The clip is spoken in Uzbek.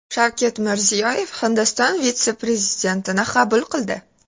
Shavkat Mirziyoyev Hindiston vitse-prezidentini qabul qildi.